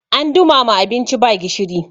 an dumama abinci ba gishiri